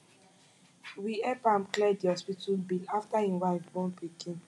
we help am clear di hospital bill afta im wife born pikin